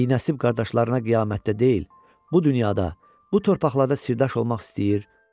Binəsib qardaşlarına qiyamətdə deyil, bu dünyada, bu torpaqlarda sirdaş olmaq istəyir.